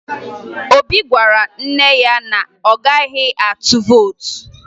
Obi gwara nne ya na ọ gaghị atụ vootu